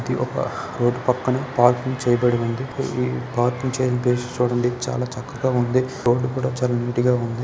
ఇది ఒక రోడ్ పక్కన పార్కింగ్ చేయబడి వుంది ఈ పార్కింగ్ చేయబడ్డ చోటునుండి చాల చక్కగా వుంది రోడ్ కూడ చాల నీట్ గ వుంది.